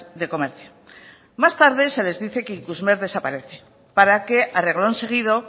de comercio más tarde se les dice que ikusmer desaparece para que a reglón seguido